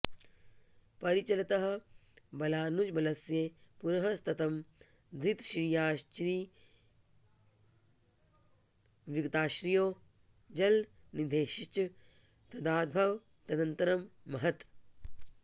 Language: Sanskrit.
परिचलतः बलानुजबलस्य पुरः सततं धृतश्रियश्चिरविगतश्रियो जलनिधेश्च तदाभवददन्तरं महत्